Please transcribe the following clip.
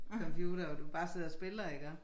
Computer og du bare sidder og spiller iggå